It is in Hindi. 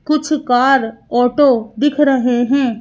कुछ कार ऑटो दिख रहें हैं।